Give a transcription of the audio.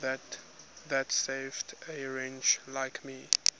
that saved a wretch like me